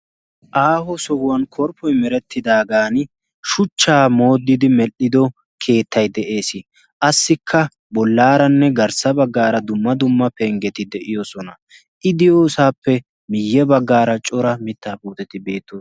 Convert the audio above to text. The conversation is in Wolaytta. Aaho sohuwan korppoi merettidaagan shuchchaa moodidi medhdhido keettai de'ees. qassikka bollaaranne garssa baggaara dumma dumma penggeti de'iyosona i diyoosaappe miyye baggaara cora mittaa puuteti beetto